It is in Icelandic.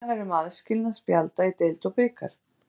Tillagan er um aðskilnað spjalda í deild og bikar.